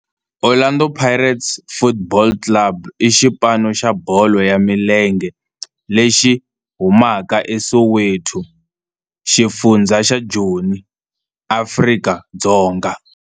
Orlando Pirates Football Club i xipano xa bolo ya milenge lexi humaka eSoweto, xifundzha xa Joni, Afrika-Dzonga.